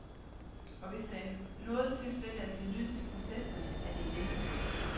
Og hvis der i noget tilfælde er blevet lyttet til protesterne, er det i denne sag.